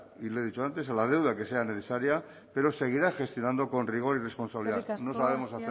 y lo he dicho antes a la deuda que sea necesaria pero seguirá gestionando con rigor y responsabilidad no sabemos